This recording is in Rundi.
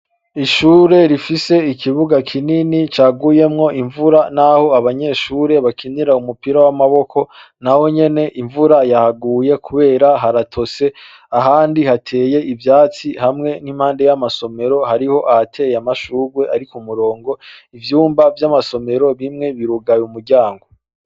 Ishure rifise ikibuga kinini caguyemwo imvura, naho abanyeshure bakinira umupira w'amaboko, nahonyene imvura yahaguye kubera haratose ahandi hateye ivyatsi hamwe n'impande y'amasomero, harateye amashurwe ari k'umurongo ,ivyumba vy'amasimero bimwe birugaye imiryango.